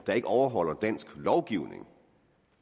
der ikke overholder dansk lovgivning